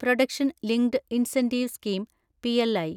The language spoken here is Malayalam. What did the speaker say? production linked incentive scheme (PLI)